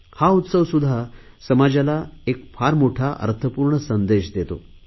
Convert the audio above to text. हा उत्सवसुध्दा समाजाला एक फार मोठा अर्थपूर्ण संदेश देतो